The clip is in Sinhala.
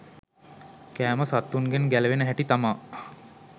කෑම සත්තුන්ගෙන් ගැලවෙන හැටි තමා